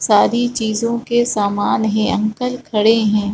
सारी चीजों के सामान हे अंकल खड़े हैं।